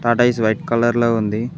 Tortoise white colour లో ఉంది.